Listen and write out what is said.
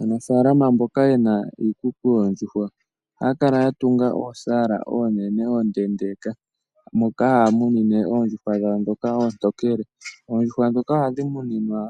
Aanafalama mboka yena iikuku yoondjuhwa ohaa kala yatunga oosala oonene ondeendeka, moka hamunine oondjuhwa dhawo dhoka oontokele, oondjuhwa dhoka ohadhi muninwa